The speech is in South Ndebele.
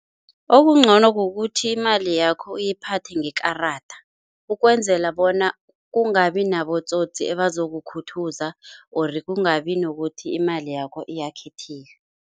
Okungcono kukuthi imali yakho uyiphathe ngekarada, ukwenzela bona kungabi nabotsotsi ebazokukhuthuza ori kungabi nokuthi imali yakho iyakhithika.